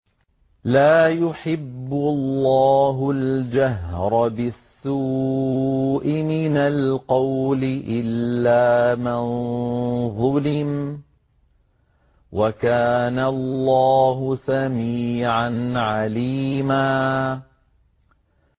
۞ لَّا يُحِبُّ اللَّهُ الْجَهْرَ بِالسُّوءِ مِنَ الْقَوْلِ إِلَّا مَن ظُلِمَ ۚ وَكَانَ اللَّهُ سَمِيعًا عَلِيمًا